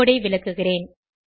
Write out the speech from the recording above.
கோடு ஐ விளக்குகிறேன்